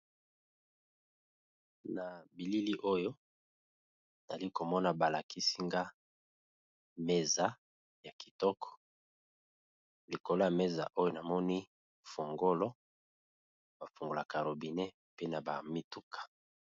Na bilili oyo nayali komona ba lakisi nga meza ya kitoko likolo ya meza oyo namoni fungolao, ba fungolaka robine pe na ba mituka.